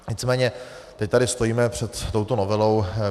Nicméně teď tady stojíme před touto novelou.